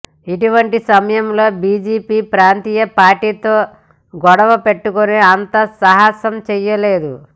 ఇటువంటి సమయంలో బిజెపి ప్రాంతీయ పార్టీలతో గొడవ పెట్టుకునే అంత సాహసం చేయదు